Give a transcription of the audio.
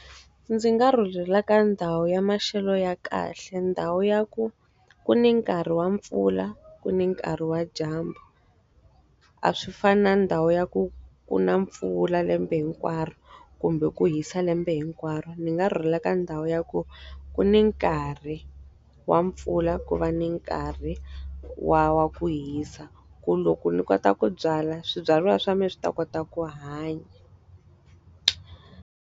Ndzi nga rhurhela ka ndhawu ya maxelo ya kahle ndhawu ya ku, ku ni nkarhi wa mpfula, ku ni nkarhi wa dyambu. A swi fani na ndhawu ya ku ku na mpfula lembe hinkwaro kumbe ku hisa lembe hinkwaro. Ndzi nga rhurhela ka ndhawu ya ku, ku ni nkarhi wa mpfula ku va ni nkarhi wa wa ku hisa. Ku loko ni kota ku byala, swibyariwa swa mina swi ta kota ku hanya.